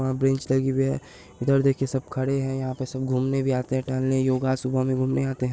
वहाँ बेंच लगी हुई है उधर देखिये सब खड़े हैं यहाँ पे सब घूमने भी आते हैं टहलने योगा सुबह में घूमने आते हैं।